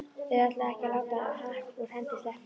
Þau ætluðu ekki að láta happ úr hendi sleppa.